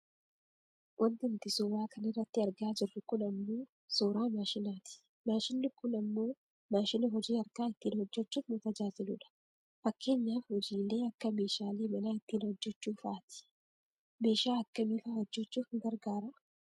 Wanti nuti suuraa kanarratti argaa jirru kun ammoo suuraa maashinaati. Maashinni kun ammoo maashina hojii harkaa ittiin hojjachuuf nu tajaajiludha. Fakkeenyaaf hojiilee akka meeshaalee manaa ittiin hojjachuufaati. Meeshaa akkamiifaa hojjachuuf nu garagaraa?